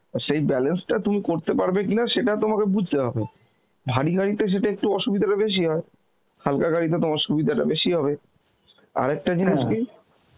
আর সেই balance টা তুমি করতে পারবে কিনা সেটা তোমাকে বুঝতে হবে বাড়ি গাড়িতে সেটা একটু অসুবিধেটা বেশি হয়, হালকা গাড়িতে তোমার সুবিধাটা বেশি হবে, আর একটা